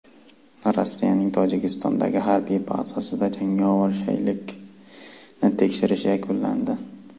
Rossiyaning Tojikistondagi harbiy bazasida jangovar shaylikni tekshirish yakunlandi.